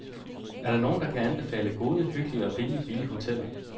Er der nogen, der kan anbefale gode, hyggelige og rimeligt billige hoteller?